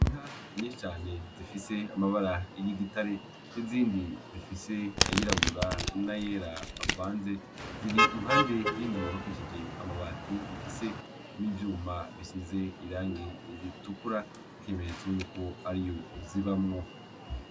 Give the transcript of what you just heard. Inka nyinshi zifise amabara y'igitare, n'izindi zifise ayirabura n'ayera avanze ziri impande y'inzu yubakishije amabati ifise n'ivyuma bisize irangi ritukura, nk'ikimenyetso yuko ariyo zibamwo.